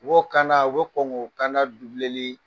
U b'o kan da u bɛ kɔn ko kan da li